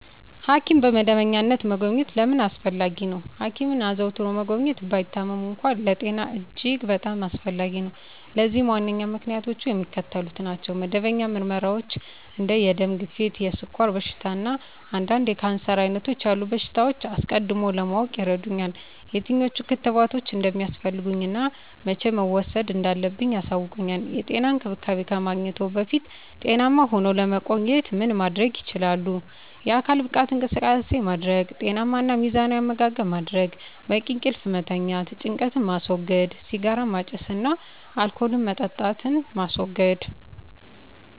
ሐኪምን በመደበኛነት መጎብኘት ለምን አስፈለጊ ነው? ሐኪምን አዘውትሮ መጎብኘት፣ ባይታመሙም እንኳ፣ ለጤና እጅግ በጣም አስፈላጊ ነው። ለዚህም ዋነኞቹ ምክንያቶች የሚከተሉት ናቸው። መደበኛ ምርመራዎች እንደ የደም ግፊት፣ የስኳር በሽታ፣ እና አንዳንድ የካንሰር ዓይነቶች ያሉ በሽታዎችን አስቀድሞ ለማወቅ ይረዱኛል። የትኞቹ ክትባቶች እንደሚያስፈልጉኝ እና መቼ መውሰድ እንዳለብኝ ያሳውቁኛል። *የጤና እንክብካቤ ከማግኘትዎ በፊት ጤናማ ሁነው ለመቆየት ምን ማድረግ ይችላሉ?*የአካል ብቃት እንቅስቃሴ ማድረግ * ጤናማ እና ሚዛናዊ አመጋገብ ማድረግ: * በቂ እንቅልፍ መተኛት * ጭንቀትን ማስወገድ * ሲጋራ ማጨስን እና አልኮል መጠጣትን ማስወገድ: